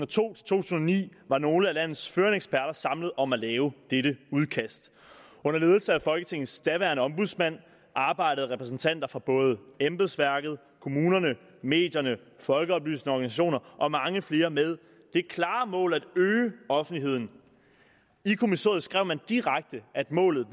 to tusind og ni var nogle af landets førende eksperter samlet om at lave dette udkast under ledelse af folketingets daværende ombudsmand arbejdede repræsentanter fra både embedsværket kommunerne medierne og folkeoplysende organisationer og mange flere med det klare mål at øge offentligheden i kommissoriet skrev man direkte at målet